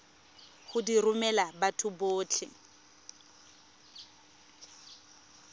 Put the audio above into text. go di romela batho botlhe